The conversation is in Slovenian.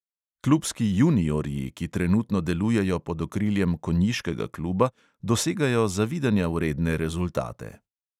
Klubski juniorji, ki trenutno delujejo pod okriljem konjiškega kluba, dosegajo zavidanja vredne rezultate.